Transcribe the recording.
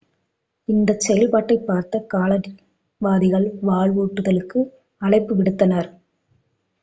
இந்தச் செயல்பாட்டைப் பார்த்த காலனியவாதிகள் வலுவூட்டுதலுக்கு அழைப்பு விடுத்தனர்